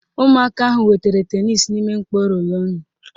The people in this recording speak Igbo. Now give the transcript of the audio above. Ụmụaka ahụ wetara tenisi n'ime mkpọ rólónụ̀